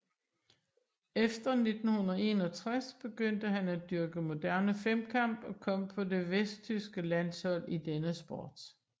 Efter 1961 begyndte han at dyrke moderne femkamp og kom på det vesttyske landshold i denne sport